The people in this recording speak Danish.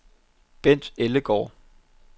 Bendt Ellegaard